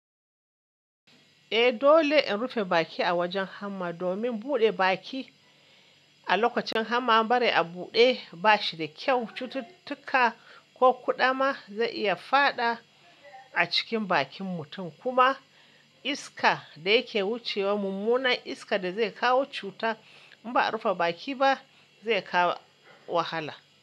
Eh dole in rufe baki a wajen hamma domin buɗe baki a lokacin hamma bari a buɗe ba shi da kyau. Cututtuka ko kuda ma zai iya fada a cikin bakin mutum kuma iska da yake wucewa mummunan iska da zai kawo cuta in ba a rufe baki ba zai kawo wahala.